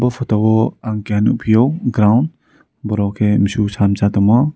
photo o ang keha nogpio ground borok ke mosok satongmo.